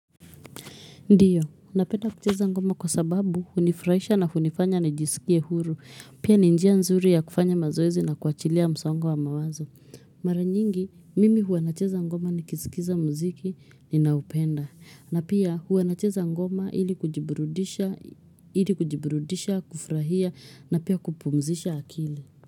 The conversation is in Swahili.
Ndiyo, napenda kucheza ngoma kwa sababu hunifurahisha na hunifanya nijisikie huru. Pia ni njia nzuri ya kufanya mazoezi na kuachilia msongo wa mawazo. Mara nyingi, mimi huwa nacheza ngoma nikisikiza mziki, ninaupenda. Na pia huwa nacheza ngoma ili kujiburudisha ili kujiburudisha, kufurahia na pia kupumzisha akili.